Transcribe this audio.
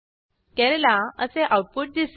केरळा असे आऊटपुट दिसेल